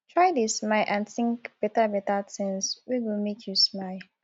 try dey smile and tink betabeta tins wey go mek yu smile